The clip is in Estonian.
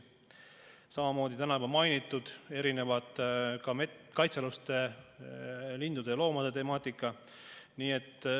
Samamoodi on täna juba mainitud erinevate kaitsealuste lindude ja loomade temaatikaga.